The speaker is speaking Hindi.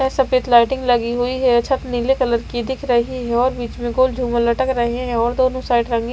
यह सफेद लाइटिंग लगी हुई है छत नीले कलर की दिख रही है और बीच में गोल झूमर लटक रहे हैं और दोनों साइड रंगीन--